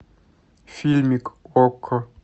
фильмик окко